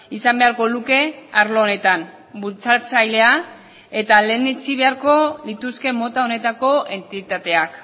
izan beharko luke arlo honetan bultzatzailea eta lehenetsi beharko lituzke mota honetako entitateak